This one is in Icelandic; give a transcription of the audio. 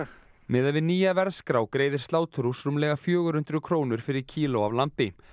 miðað við nýja verðskrá greiðir sláturhús rúmlega fjögur hundruð krónur fyrir kíló af lambi